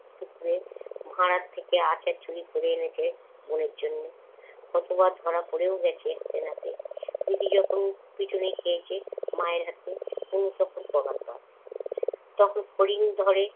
ভাড়ার থেকে আচার চুরি করে এনেছে বোনের জন্যে। কতবার ধরা পরেও গেছে হাতে-নাতে। দিদি যখন পিটুনি খেয়েছে মায়ের হাতে তনু তখন পগারপাড়। তখন ফড়িং ধরে